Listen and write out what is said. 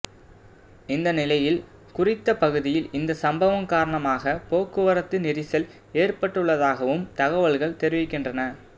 இந்த நிலையில் குறித்த பகுதியில் இந்த சம்பவம் காரணமாக போக்குவரத்து நெரிசல் ஏற்பட்டுள்ளதாகவும் தகவல்கள் தெரிவிக்கின்றன